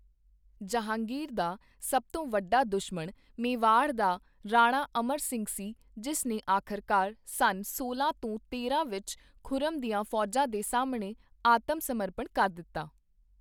ਜਹਾਂਗੀਰ ਦਾ ਸਭ ਤੋਂ ਵੱਡਾ ਦੁਸ਼ਮਣ ਮੇਵਾੜ ਦਾ ਰਾਣਾ ਅਮਰ ਸਿੰਘ ਸੀ, ਜਿਸ ਨੇ ਆਖ਼ਰਕਾਰ ਸੰਨ ਸੋਲਾਂ ਸੌ ਤੇਰਾਂ ਵਿੱਚ ਖੁਰਮ ਦੀਆਂ ਫੌਜਾਂ ਦੇ ਸਾਹਮਣੇ ਆਤਮ ਸਮਰਪਣ ਕਰ ਦਿੱਤਾ।